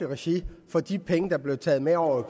regi for de penge der bliver taget med over